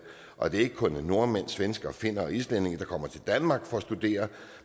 og at det ikke kun er nordmænd svenskere finner og islændinge der kommer til danmark for at studere